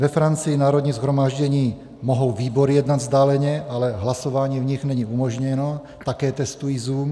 Ve Francii - Národní shromáždění - mohou výbory jednat vzdáleně, ale hlasování v nich není umožněno, také testují Zoom.